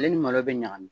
Ale ni malo bɛ ɲagami